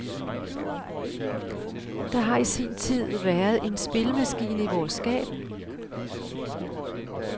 Der har i sin tid været en spillemaskine i vores skab.